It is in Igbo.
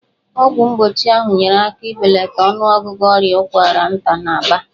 Ọgwụ mgbochi ahụ nyeere aka n'ibelata ọnụọgụgụ ọrịa ụkwara nta n'Aba.